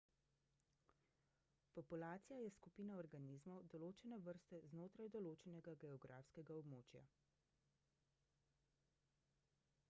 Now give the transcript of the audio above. populacija je skupina organizmov določene vrste znotraj določenega geografskega območja